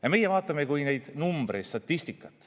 Ja meie vaatame neid kui numbreid, statistikat.